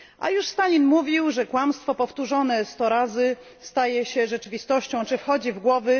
Już Stalin mówił, że kłamstwo powtórzone 100 razy staje się rzeczywistością, wchodzi w głowy.